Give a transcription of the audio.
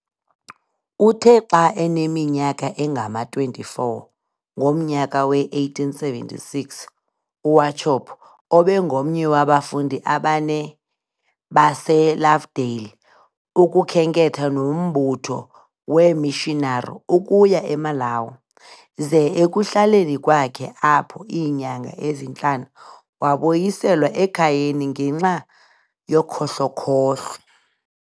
Uthe xa eneminyaka engama-24 ngomnyaka we-1876, uWauchope ubengomnye wabafundi abane base"Lovedale" ukukhenketha nombutho weeMissionari ukuya e"Malawi" ze ekuhlaleni kwakhe apho iinyanga ezintlanu wabuyiselwa ekhayeni ngenxa yokhohlokhohlo.